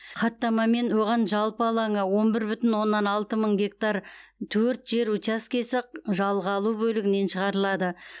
хаттамамен оған жалпы алаңы он бір бүтін оннан алты мың гектар төрт жер учаскесі жалға алу бөлігінен шығарылады